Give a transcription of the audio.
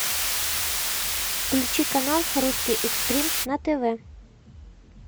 включи канал русский экстрим на тв